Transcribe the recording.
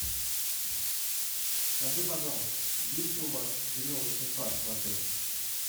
скажи пожалуйста есть ли у вас веревочный парк в отеле